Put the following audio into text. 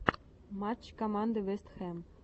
матч команды вест хэм